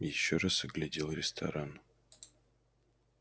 ещё раз оглядел ресторан